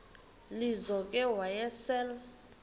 lizo ke wayesel